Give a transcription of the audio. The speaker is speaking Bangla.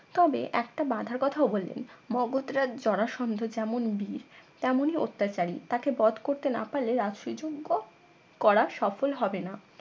তবে একটা বাধার কথাও বললেন মগধ রাজ জরাসন্ধ যেমন বীর তেমনই অত্যাচারী তাকে বধ করতে না পারলে রাজসুই যজ্ঞ করা সফল হবে না